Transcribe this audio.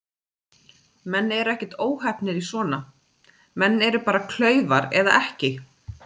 Menn eru ekkert óheppnir í svona, menn eru bara klaufar eða ekki.